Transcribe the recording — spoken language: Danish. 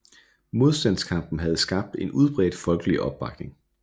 Modstandskampen havde skabt en udbredt folkelig opbakning